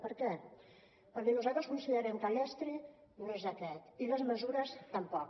per què perquè nosaltres considerem que l’estri no és aquest i les mesures tampoc